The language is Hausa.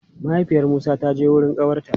Mahaifiyar Musa ta je wurin ƙawarta.